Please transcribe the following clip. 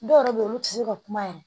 Dɔw yɛrɛ bɛ yen olu tɛ se ka kuma yɛrɛ